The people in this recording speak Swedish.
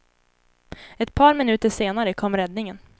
Ett par minuter senare kom räddningen.